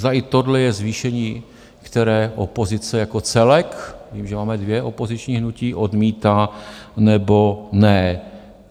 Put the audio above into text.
Zda i tohle je zvýšení, které opozice jako celek - vím, že máme dvě opoziční hnutí - odmítá nebo ne.